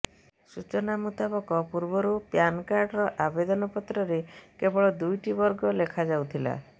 ସୂଚନା ମୂତାବକ ପୂର୍ବରୁ ପ୍ୟାନ୍ କାର୍ଡ଼ର ଆବେଦନ ପତ୍ରରେ କେବଳ ଦୁଇଟି ବର୍ଗ ଲେଖା ଯାଉଥିଲା